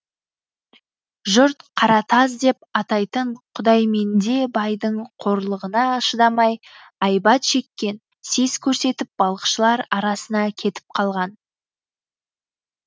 жұрт қаратаз деп атайтын құдайменде байдың қорлығына шыдамай айбат шеккен сес көрсетіп балықшылар арасына кетіп қалған